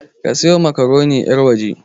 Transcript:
A siyo makaroni yarwaje!